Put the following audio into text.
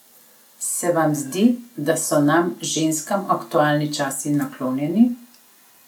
Se vam zdi, da so nam, ženskam, aktualni časi naklonjeni?